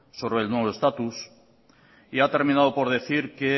sobre el nuevo estatus y ha terminado por decir que